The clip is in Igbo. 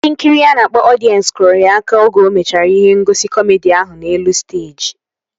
Ndị nkiri a na-akpọ ọdiens kụrụ ya aka oge o mechara ihe ngosi kọmedi ahụ n'elu steeji